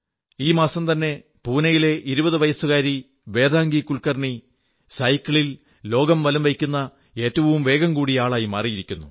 ഈ മാസംതന്നെ പൂനയിലെ 20 വയസ്സുകാരി വേദാംഗി കുൽകർണി സൈക്കിളിൽ ലോകം വലംവയ്ക്കുന്ന ഏറ്റവും വേഗംകൂടിയ ആളായി മാറിയിരിക്കുന്നു